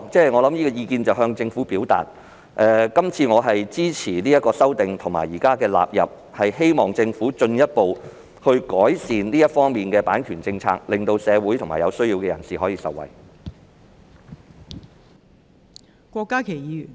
不論怎樣，我想向政府表示，我會支持將修正案納入《版權條例》，並希望政府進一步改善版權政策，令社會及有需要人士可以受惠。